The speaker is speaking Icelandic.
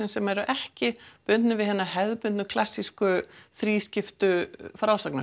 sem eru ekki bundnir við hina hefðbundnu klassísku þrískiptu